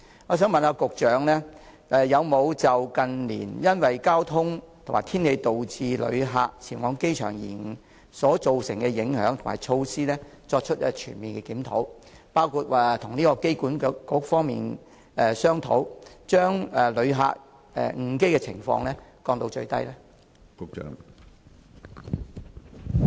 我想問局長，有否就近年因為交通及天氣導致旅客前往機場延誤所造成的影響及措施，作出全面檢討，包括與機管局方面商討，將旅客錯過航班的情況降到最低呢？